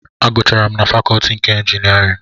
Agụcharụ m na fakọtị nke ịnjinierịn